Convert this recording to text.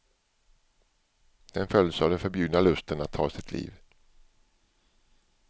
Den följs av den förbjudna lusten att ta sitt liv.